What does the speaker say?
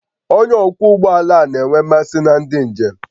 Onye ọkwọ ụgbọ ala a na-enwe mmasị na ndị njem